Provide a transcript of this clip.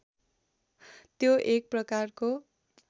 त्यो एक प्रकारको